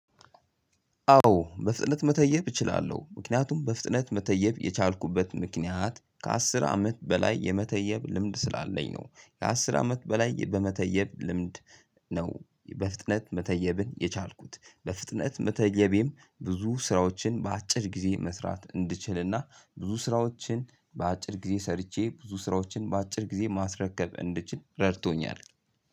አዎ በፍጥነት መተየብ እችላለሁ ምክንያቱም በፍጥነት መተየብ የቻልኩበት ምክንያት ከአስር አመት በላይ የመተየብ ልምድ ስላለኝ ነው የአስር አመት በላይ በመተየብ ልምድ ነው። በፍጥነት መተየብን የቻልኩት በፍጥነት መተየቤም ብዙ ስራዎችን በአጭር ጊዜ መስራት እንድችልና ብዙ ስራዎችን በአጭር ጊዜ ሰርቼ ብዙ ስራዎችን በአጭር ጊዜ ማስረከብ እንድችል ረድቶኛል።